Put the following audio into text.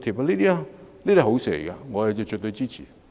凡此種種，皆是好事，我絕對支持。